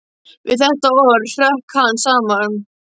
Við þetta orð hrökk hann saman.